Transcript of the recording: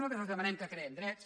nosaltres els demanem que creem drets